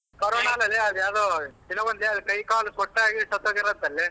Corona ಅಲ್ಲಲೇ ಅದ್ ಯಾವ್ಡೊ ಕೈ ಕಾಲು ಆಗಿ ಸತ್ತ್ ಹೋಗ್ಯಾರಂತಲೆ.